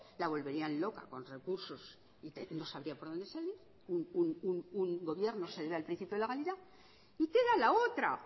la volverían loca con recursos y no sabría por dónde salir un gobierno se debe al principio de legalidad y queda la otra